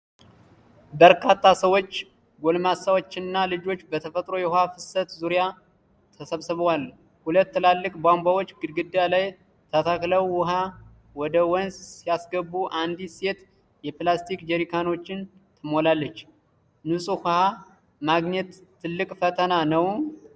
በርካታ ሰዎች፣ ጎልማሶችና ልጆች፣ በተፈጥሮ የውሃ ፍሰት ዙሪያ ተሰባስበዋል። ሁለት ትላልቅ ቧንቧዎች ግድግዳ ላይ ተተክለው ውሃ ወደ ወንዝ ሲያስገቡ አንዲት ሴት የፕላስቲክ ጀሪካኖችን ትሞላለች። ንፁህ ውሃ ማግኘት ትልቅ ፈተና ነው?